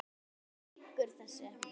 Þú lýgur þessu!